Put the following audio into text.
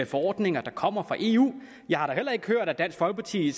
forordninger der kommer fra eu jeg har da heller ikke hørt at dansk folkeparti